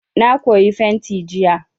Na koyi fenti jiya.